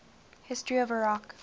history of iraq